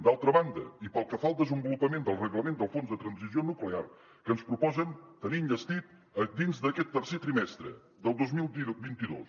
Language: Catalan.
d’altra banda i pel que fa al desenvolupament del reglament del fons de transició nuclear que ens proposen tenir enllestit dins d’aquest tercer trimestre del dos mil vint dos